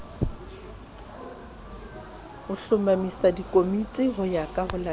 a hlomamisa dikomiti ho ya